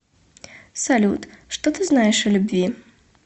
салют что ты знаешь о любви